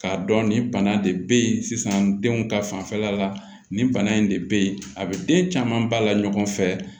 K'a dɔn nin bana de bɛ yen sisan denw ka fanfɛla la nin bana in de bɛ yen a bɛ den caman ba la ɲɔgɔn fɛ